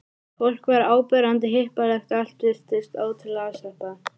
Fólk var áberandi hippalegt og allt virtist ótrúlega afslappað.